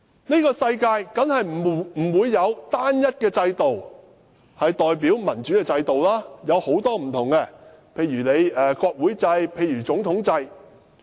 這個世界當然不會只有單一一個代表民主的制度，而是有很多不同的制度，例如國會制、總統制。